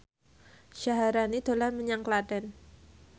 Syaharani dolan menyang Klaten